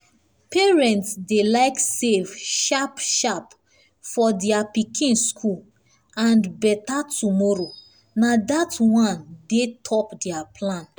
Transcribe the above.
parents dey like save sharp-sharp for their pikin school and better tomorrow na that one dey top their plan.